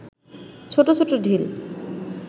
ছোট ছোট ঢিল